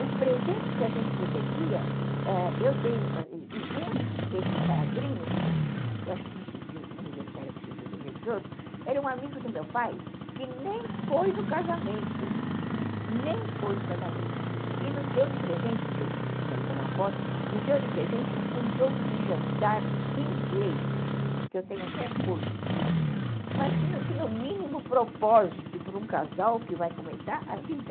Os presentes que a gente recebia, eu tenho, e um desses padrinhos, eu acho que do civil, não me lembro se era do civil do religioso, era um amigo do meu pai que nem foi no casamento, nem foi no casamento, e nos deu de presente, porque ele tinha alguma aposta, nos deu de presente um jogo de jantar inglês, que eu tenho até hoje, mas que não tinha o mínimo propósito para um casal que vai começar a vida.